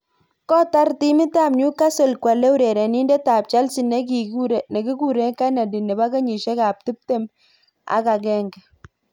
Kkotar timit ab New Castle kwalei urenenindet ab Chelsea nekikure Kenedy nebo kenyishek ab tip tem agenge.